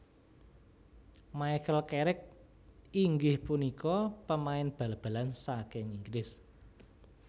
Michael Carrick inggih punika pemain bal balan saking Inggris